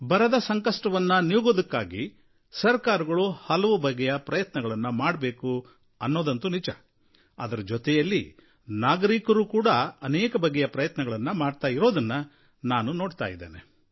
ಬರದ ಸಂಕಷ್ಟವನ್ನು ನೀಗೋದಕ್ಕಾಗಿ ಸರಕಾರಗಳು ಹಲವು ಬಗೆಯ ಪ್ರಯತ್ನಗಳನ್ನು ಮಾಡಬೇಕು ಅನ್ನೋದಂತೂ ನಿಜ ಅದರ ಜೊತೆಯಲ್ಲಿ ನಾಗರಿಕರೂ ಕೂಡ ಅನೇಕ ಬಗೆಯಲ್ಲಿ ಪ್ರಯತ್ನಗಳನ್ನು ಮಾಡ್ತಾ ಇರೋದನ್ನು ನಾನು ನೋಡ್ತಾ ಇದ್ದೇನೆ